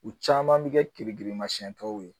U caman bɛ kɛ kere girinmasiyɛn dɔw ye